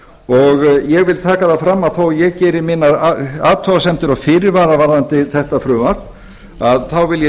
ræða ég vil taka það fram að þó að ég geri mínar athugasemdir og fyrirvara varðandi þetta frumvarp þá vil ég